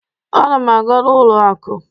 Ana m aga n'ụlọ akụ.